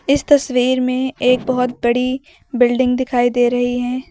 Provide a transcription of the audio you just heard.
इस तस्वीर में एक बहुत बड़ी बिल्डिंग दिखाई दे रही है।